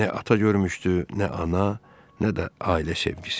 Nə ata görmüşdü, nə ana, nə də ailə sevgisi.